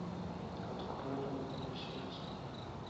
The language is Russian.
открой родное сердце